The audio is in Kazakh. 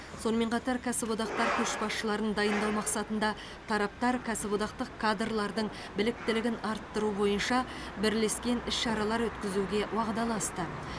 сонымен қатар кәсіподақтар көшбасшыларын дайындау мақсатында тараптар кәсіподақтық кадрлардың біліктілігін арттыру бойынша бірлескен іс шаралар өткізуге уағдаласты